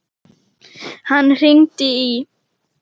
Hann hringdi í